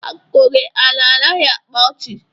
Akụkọ gị a anaghị akpa ọchị